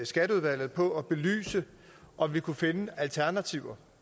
skatteudvalget på at belyse om vi kunne finde alternativer